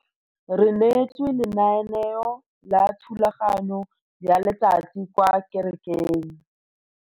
Re neetswe lenaneo la thulaganyo ya letsatsi kwa kerekeng.